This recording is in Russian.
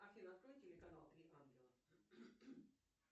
афина открой телеканал три ангела